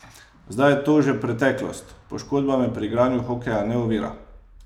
Zdaj je to že preteklost: "Poškodba me pri igranju hokeja ne ovira.